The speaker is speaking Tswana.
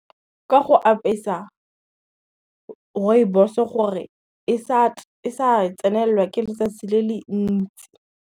Ka go apesa, rooibos-o gore e sa tsenelelwa ke letsatsi le le ntsi.